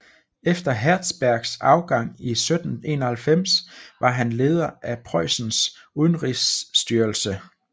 Efter Hertzbergs afgang i 1791 var han leder af Preussens udenrigsstyrelse